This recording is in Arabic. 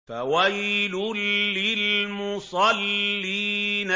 فَوَيْلٌ لِّلْمُصَلِّينَ